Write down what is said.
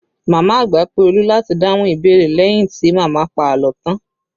Màmá àgbà pé Olu láti dáhùn ìbéèrè leyin ti màmá pa àlọ́ tan